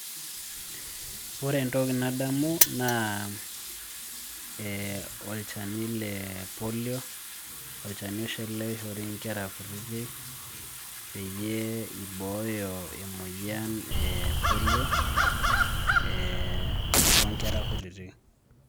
Ore entoki nadamu naa olchani le polio, olchani oshi ele oishori nkera kutitik peyie ibooyo emoyian e polio, tonkera kutitik.